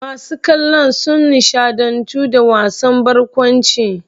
Masu kallon sun nishaɗantu da wasan barkwancin.